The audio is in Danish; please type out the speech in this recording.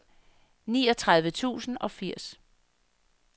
niogtredive tusind og firs